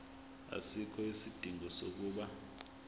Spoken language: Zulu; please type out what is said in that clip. asikho isidingo sokuba